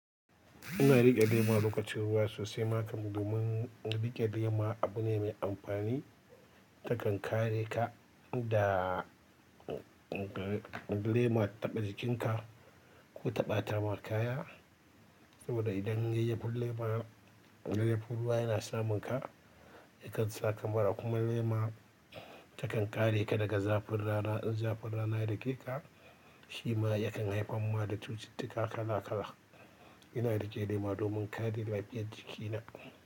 Ina riƙe lema lokacin ruwa sosai, maka domin riƙe lema abu ne mai amfani. Takan kare ka da lema taɓa jikinka ko taɓata ma kaya. Saboda idan yayyafin lema, yayyafin ruwa yana samun ka, yakan saka mura kuma lema takan kare ka daga zafin rana. In zafin rana ya dake ka, shi ma yakan haifar ma da cututtuka kala kala. Ina riƙe lema domin kare lafiyar jikina.